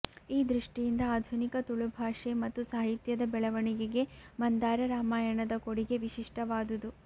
ಈ ದೃಷ್ಟಿಯಿಂದ ಆಧುನಿಕ ತುಳು ಭಾಷೆ ಮತ್ತು ಸಾಹಿತ್ಯದ ಬೆಳವಣಿಗೆಗೆ ಮಂದಾರ ರಾಮಾಯಣದ ಕೊಡುಗೆ ವಿಶಿಷ್ಟವಾದುದು